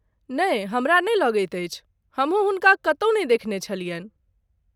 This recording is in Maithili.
नइ ,हमरा नहि लगैत अछि, हमहूँ हुनका कतौ नहि देखने छलियन्हि।